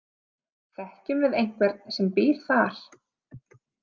Þekkjum við einhvern sem býr þar?